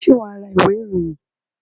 Ṣé wà á ra ìwé-ìròyìn?